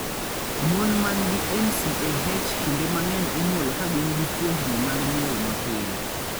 Mon man gi NCAH kinde mang'eny inyuolo ka gin gi fuondni mag nyuol mapile.